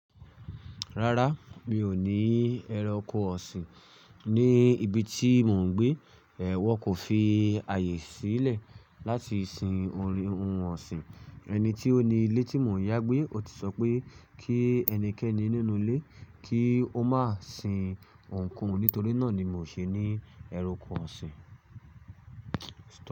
Rárá, mi ò ní ẹranko ọ̀sìn ní ibi tí mò ń gbé. Ẹẹ, wọn kò fi àyè sílẹ̀ láti sin ohun ọ̀sìn. Ẹni tí ó ni ilé tí mò ń yá gbé, ó ti sọ pé kí ẹnikẹ́ni nínú ilé kí ó má sin ohunkóhun. Nítorí náà ni mi ò ṣe ní ẹranko ọ̀sìn.